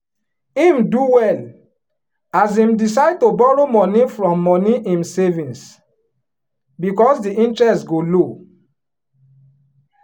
him do well as him decide to borrow money from money him savings because the interest go low.